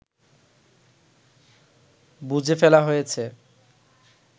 বুজে ফেলা হয়েছে